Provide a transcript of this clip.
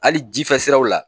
Hali jifɛ siraw la.